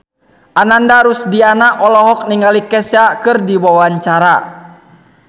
Ananda Rusdiana olohok ningali Kesha keur diwawancara